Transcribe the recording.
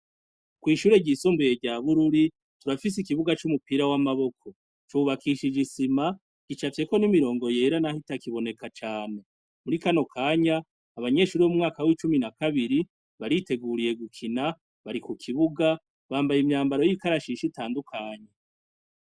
Kw'ishure ryisumbuye rya bururi turafis 'ikibuga c'umupira w'amaboko, cubakishije isima, gicafyeko n'imirongo yera nah'itaboneka cane, muri kano kanya abanyeshure bo mu mwaka w'icumi na kabiri bariteguriye gukina, bari mukibuga bambaye imyambaro y'ikarashishi itandukanye.